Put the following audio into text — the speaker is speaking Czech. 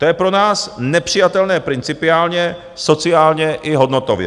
To je pro nás nepřijatelné principiálně, sociálně i hodnotově.